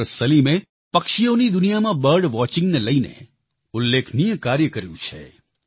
doctor સલીમે પક્ષીઓની દુનિયામાં બર્ડ વોચિંગને લઈને ઉલ્લેખનીય કાર્ય કર્યું છે